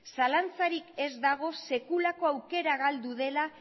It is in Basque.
zalantzarik ez dago sekulako aukera galdu dela